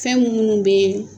Fɛn munu bɛ